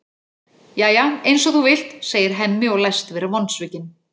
Jæja, eins og þú vilt, segir Hemmi og læst vera vonsvikinn.